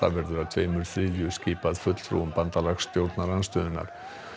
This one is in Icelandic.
verður að tveimur þriðju skipað fulltrúum bandalags stjórnarandstöðunnar